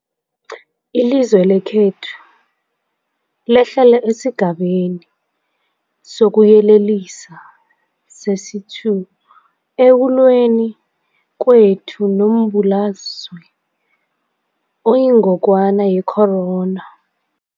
Ilizwe lekhethu lehlele esiGabeni sokuYelelisa sesi-2 ekulweni kwethu nombulalazwe oyingogwana ye-corona.